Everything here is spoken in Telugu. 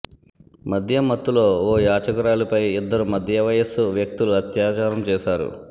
మద్యం మత్తులో ఓ యాచకురాలిపై ఇద్దరు మధ్య వయస్సు వ్యక్తులు అత్యాచారం చేశారు